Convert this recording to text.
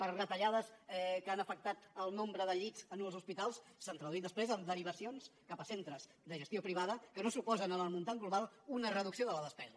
per retallades que han afectat el nombre de llits als hospitals s’han traduït després en derivacions cap a centres de gestió privada que no suposen en l’import global una reducció de la despesa